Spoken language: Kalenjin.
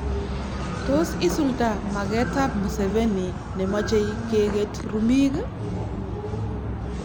Tos isulda magetab Museveni ne machei keget rumik?